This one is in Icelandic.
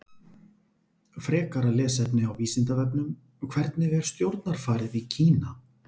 Frekara lesefni á Vísindavefnum: Hvernig er stjórnarfarið í Kína?